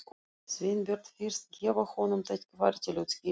Sveinbjörn fyrst, gefa honum tækifæri til að útskýra þetta.